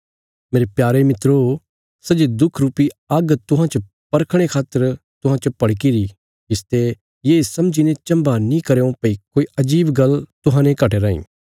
मेरे प्यारे मित्रो सै जे दुख रुपी आग्ग तुहांजो परखणे खातर तुहां च भड़कीरी इसते ये समझीने चम्भा नीं करयों भई कोई अजीब गल्ल तुहांजो घटी राईं